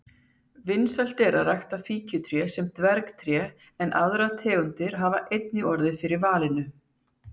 Vinsælt er að rækta fíkjutré sem dvergtré en aðrar tegundir hafa einnig orðið fyrir valinu.